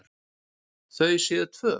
Þau séu tvö.